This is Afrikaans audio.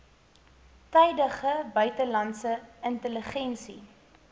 tydige buitelandse intelligensie